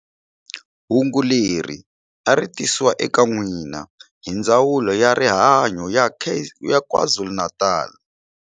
Hungu leri a ri tisiwa eka n'wina hi Ndzawulo ya rihanyu ya KwaZulu-Natal.